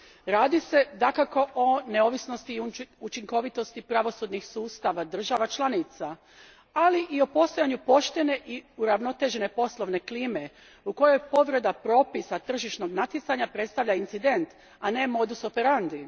Radi se dakako o neovisnosti i učinkovitosti pravosudnih sustava država članica, ali i o postojanju poštene i uravnotežene poslovne klime u kojoj povreda propisa tržišnog natjecanja predstavlja incident, a ne modus operandi.